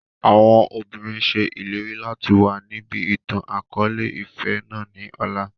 Àwọn òbinrín ṣe ìlérí láti wá níbí ìtàn akọ̀ọ̀lẹ-ìfẹ́ náà ni ọ̀la.